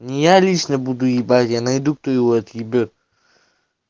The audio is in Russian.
я лично буду ебатья найду лично кто его уебет